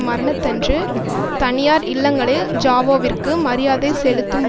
மரணத்தன்று தனியார் இல்லங்களில் ஜாவோவிற்கு மரியாதை செலுத்தும்